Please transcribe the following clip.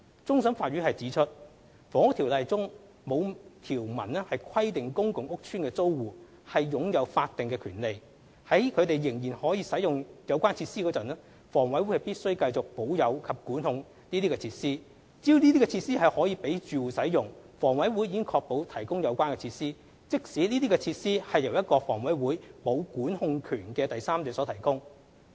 終審法院指出，《房屋條例》中沒有條文規定公共屋邨的租戶擁有法定權利，在他們仍然使用有關設施時，房委會必須繼續保有及管控這些設施。只要設施可供住戶使用，房委會已確保提供有關設施，即使這些設施是由一個房委會沒有管控權的第三者所提供。